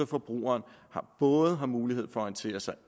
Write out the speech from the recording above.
forbruger både har mulighed for at orientere sig